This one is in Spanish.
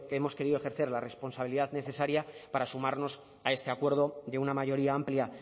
hemos querido ejercer la responsabilidad necesaria para sumarnos a este acuerdo de una mayoría amplia